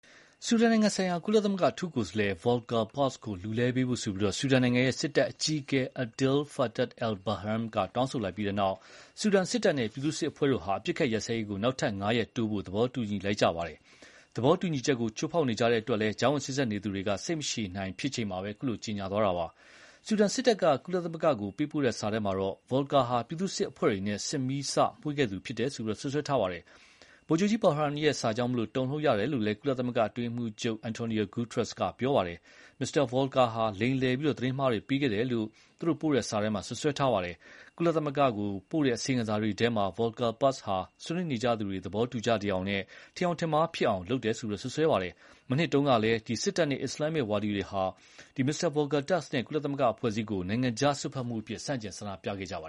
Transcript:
ဆူဒန်နိုင်ငံဆိုင်ရာ ကုလသမဂ္ဂအထူးကိုယ်စားလှယ် Volker Perthes ကို လူလဲပေးဖို့ ဆူဒန်စစ်တပ် အကြီးအကဲ Abdel Fattah al-Burhan က တောင်းဆိုလိုက်ပြီးတဲ့နောက် ဆူဒန်စစ်တပ်နဲ့ ပြည်သူ့စစ်အဖွဲ့တို့ ဟာ အပစ်အခတ်ရပ်စဲရေး ကို နောက်ထပ် ၅ ရက် တိုးဖို့ သဘောတူလိုက်ကြကြောင်း တနင်္လာနေ့ နှောင်းပိုင်းက ကြေညာလိုက်ကြပါတယ်။ သဘောတူညီချက် ကို ချိုးဖောက်နေကြတဲ့အတွက် ကြားဝင်စေ့စပ်နေသူတွေက စိတ်မရှည်နိုင်ဖြစ်နေချိန်မှာပဲ ခုလို ကြေညာလိုက်တာပါ။ ဆူဒန်စစ်တပ် က ကုလသမဂ္ဂ ကို ပေးပို့တဲ့ စာထဲမှာ Volker ဟာ ပြည်သူ့စစ်အဖွဲ့တွေနဲ့ စစ်ကိုမီးစမွှေးခဲ့သူ ဖြစ်တယ်လို့ စွပ်စွဲလိုက်ပါတယ်။ Burhan ရဲ့ စာကြောင့် တုန်လှုပ်ရပါတယ်လို့ ကုလသမဂ္ဂ အတွင်းရေးမှူးချုပ် Antonio Guterres ကဆိုပါတယ်။ မစ္စတာ Volker ဟာလိမ်လည် သတင်းမှားတွေပေးခဲ့တယ်လို့ စာထဲမှာစွပ်စွဲထားပါတယ်။ ကုလသမဂ္ဂကို ပို့ခဲ့တဲ့ အစီရင်ခံစာတွေထဲမှာ Volker Perthes ဟာ ဆွေးနွေးနေကြသူတွေ သဘောတူကြသယောင် ထင်ယောင်ထင်မှားလုပ်ခဲ့တယ်လို့ စွပ်စွဲထားပါတယ်။ မနှစ်တုန်းကလည်း စစ်တပ်နဲ့အစ္စလာမ်ဝါဒီတွေက Volker Perthes နဲ့ ကုလသမဂ္ဂအဖွဲ့အစည်းကို နိုင်ငံခြားစွက်ဖက်မှုအဖြစ် ဆန့်ကျင်ဆန္ဒပြခဲ့ကြတာပါ